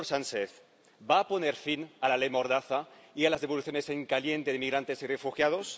Señor Sánchez, ¿va a poner fin a la ley mordaza y a las devoluciones en caliente de inmigrantes y refugiados?